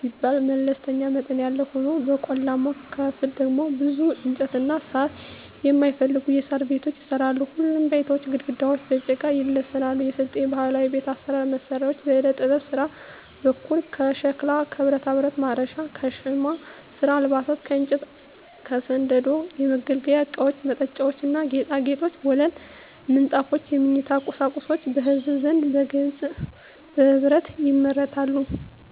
ሲባል መለስተኛ መጠን ያለው ሆኖ በቆላማው ክፍል ደግሞ ብዙ እንጨትና ሳር የማይፈልጉ የሣር ቤቶች ይሰራሉ። ሁሉም ቤቶች ግድግዳቸው በጭቃ ይለሰናሉ። የስልጤ ባህላዊ ቤት ባህላዊ መሳሪያዎች በዕደጥበብ ስራ በኩል ከሸክላ ከብረታብረት (ማረሻ) ከሻማ ስራ አልባሳት ከእንጨት ከስንደዶ የመገልገያ እቃወች መጠጫዎች ና ጌጣጌጦች ወለል ምንጣፎች የመኝታ ቁሳቁሶች በህዝቡ ዘንድ በግልና በህብረት ይመረታሉ።